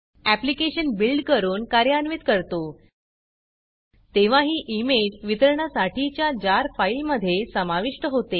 application build करून कार्यान्वित करतो तेव्हा ही इमेज वितरणासाठीच्या जार फाईलमधे समाविष्ट होते